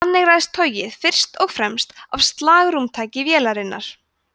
þannig ræðst togið fyrst og fremst af slagrúmtaki vélarinnar